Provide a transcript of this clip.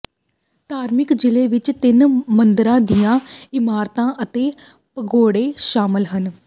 ਧਾਰਮਿਕ ਜਿਲ੍ਹੇ ਵਿਚ ਤਿੰਨ ਮੰਦਰਾਂ ਦੀਆਂ ਇਮਾਰਤਾਂ ਅਤੇ ਪਗੋਡੇ ਸ਼ਾਮਲ ਹਨ